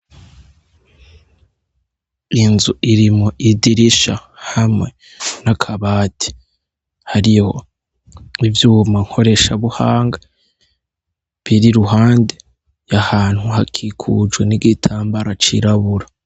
Inzu irimwo idirisha hamwe n'akabati hariho ivyuma nkoresha buhanga biri iruhande y'ahantu hakikujwe n'igitambara cirabura.